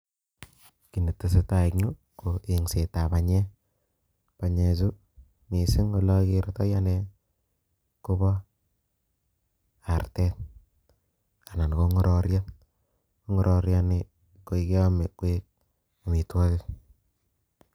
Kiy ne tesetai eng' yuu, ko engset ab panyek. Panyechu, missing ole agertoi ane kobo artet anan ko ng'ororiet. Ng'ororiet nii, koi keame koek amitwogik